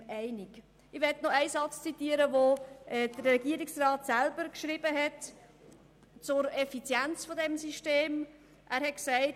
Ich möchte noch einen Satz zitieren, den der Regierungsrat selber zur Effizienz dieses Systems geschrieben hat.